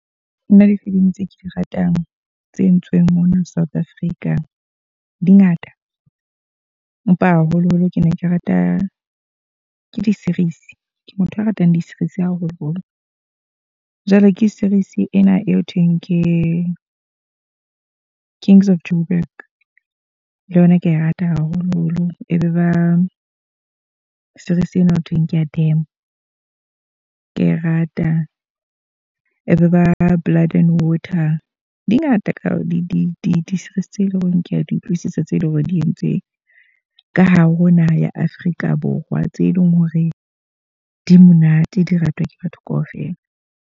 Nna difilimi tse ke di ratang tse entsweng mona South Africa, di ngata. Empa haholo-holo ke ne ke rata ke di-series ke motho a ratang di-series haholo-holo. Jwale ke series ena e ho thweng ke King's Of Joburg, le yona kea e rata haholo-holo. E be ba series ena ho thweng ke ya Dame. Ke a e rata, e be ba Blood and Water. Di ngata ka di-series tse leng hore ke a di utlwisisa, tse leng hore di entse ka hare ho naha ya Afrika Borwa. Tse leng hore di monate di ratwa ke batho ka ofela.